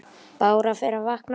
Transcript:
Bára fer að vakna.